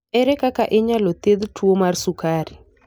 Ere kaka inyalo thiedh tuwo mar sukari?